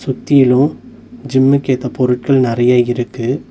சுத்திலு ஜிம்முக்கு ஏத்த பொருட்கள் நறைய இருக்கு.